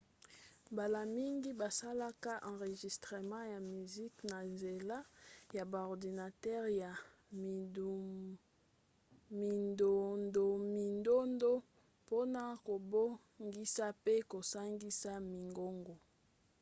mbala mingi basalaka enregistrement ya miziki na nzela ya ba ordinatere ya mindondomindondo mpona kobongisa mpe kosangisa mingongo